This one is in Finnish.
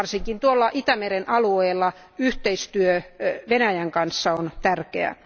Varsinkin tuolla Itämeren alueella yhteistyö Venäjän kanssa on tärkeää.